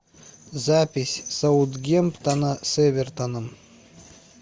запись саутгемптона с эвертоном